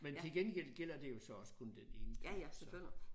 Men til gengæld gælder det jo så også kun den ene gang så